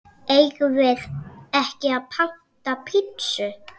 Eigum við ekki panta pitsu?